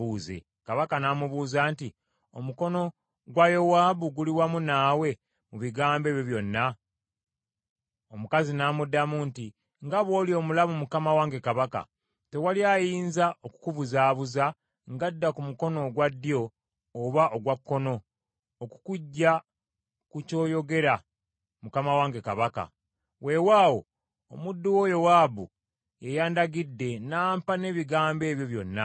Kabaka n’amubuuza nti, “Omukono gwa Yowaabu guli wamu naawe mu bigambo ebyo byonna?” Omukazi n’amuddamu nti, “Nga bw’oli omulamu mukama wange kabaka, tewali ayinza okukubuzaabuza ng’adda ku mukono ogwa ddyo oba ogwa kkono okukuggya ku ky’oyogera mukama wange kabaka. Weewaawo, omuddu wo Yowaabu yeyandagidde, n’ampa n’ebigambo ebyo byonna.